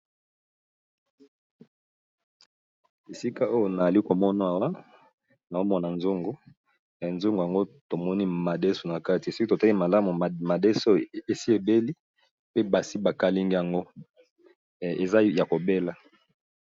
Esika oyo tozali komona awa namoni nzungu eza nakati madeso esi ebeli pe basi ba kalingi yango.